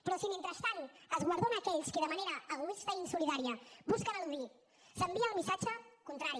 però si mentrestant es guardona aquells qui de manera egoista i insolidària busquen eludir s’envia el missatge contrari